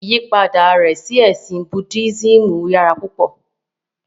Ìyipada rẹ̀ sí ẹ̀sìn Buddhismù yàrà púpọ.